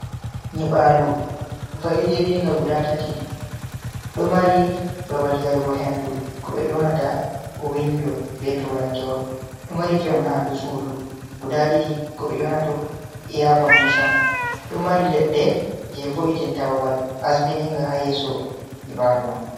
Nyibalu va’idiringa guda tati do mari babal yarugo hendu ,ko be yonata windo be turankewol do mari fewnandu sudu guda didi ko be yonat aircondition do mari ledde je vo’itinta babal asbininga hayeso nyibalu man.